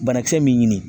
Banakisɛ min ɲini